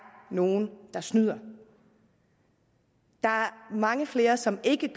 nogle der snyder der er mange flere som ikke